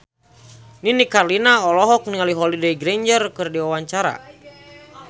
Nini Carlina olohok ningali Holliday Grainger keur diwawancara